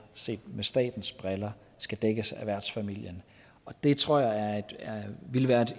set med statens briller skal dækkes af værtsfamilien det tror jeg ville være